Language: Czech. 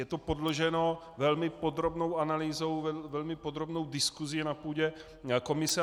Je to podloženo velmi podrobnou analýzou, velmi podrobnou diskusí na půdě komise.